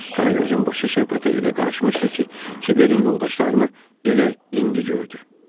Qaragözün başı söhbətə elə qarışmışdı ki, Kiberin yoldaşlarını elə indi gördü.